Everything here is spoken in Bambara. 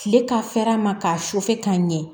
Kile ka fɛɛrɛ ma k'a sufɛ k'a ɲɛ